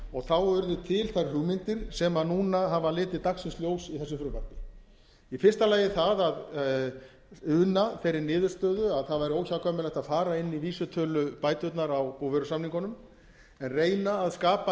og þá urðu til þær hugmyndir sem núna hafa litið dagsins ljós í þessu frumvarpi í fyrsta lagi það að una þeirri niðurstöðu að það væri óhjákvæmilegt að fara inn í vísitölubæturnar á búvörusamningunum en reyna að skapa